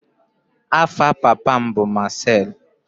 Afa papa m bu Marcel.